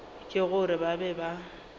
ke gore ba be ba